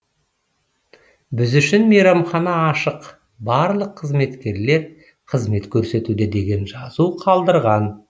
біз үшін мейрамхана ашық барлық қызметкерлер қызмет көрсетуде деген жазу қалдырған